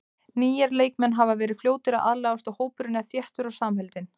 Nýir leikmenn hafa verið fljótir að aðlagast og hópurinn er þéttur og samheldinn.